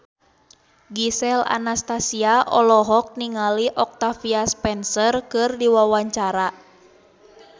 Gisel Anastasia olohok ningali Octavia Spencer keur diwawancara